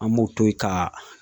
An b'o to yen ka